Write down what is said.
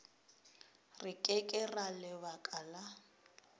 re ke ka lebaka la